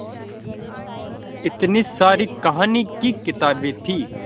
इतनी सारी कहानी की किताबें थीं